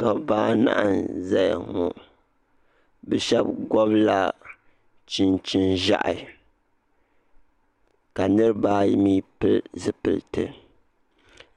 Dabba anahi n zaya ŋɔ bɛ sheba ŋɔbila chinchini ʒehi ka niriba ayi mee pili zipilti